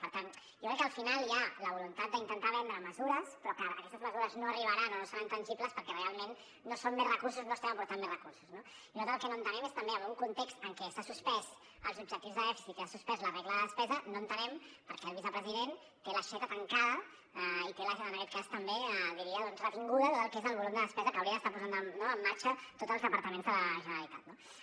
per tant jo crec que al final hi ha la voluntat d’intentar vendre mesures però que aquestes mesures no arribaran o no seran tangibles perquè realment no són més recursos no estem aportant més recursos no i nosaltres el que no entenem és també en un context en què s’han suspès els objectius de dèficit que s’ha suspès la regla de despesa no entenem per què el vicepresident té l’aixeta tancada i té l’aixeta en aquest cas també diria doncs retinguda a tot el que és el volum de despesa que haurien d’estar posant en marxa tots els departaments de la generalitat